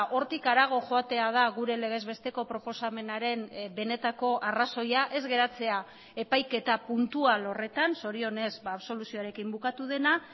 hortik harago joatea da gure legez besteko proposamenaren benetako arrazoia ez geratzea epaiketa puntual horretan zorionez absoluzioarekin bukatu dena